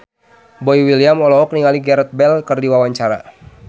Boy William olohok ningali Gareth Bale keur diwawancara